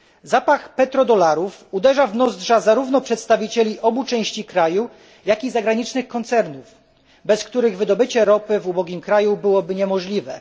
Zapach petrodolarów uderza w nozdrza zarówno przedstawicieli obu części kraju, jak i zagranicznych koncernów, bez których wydobycie ropy w ubogim kraju byłoby niemożliwe.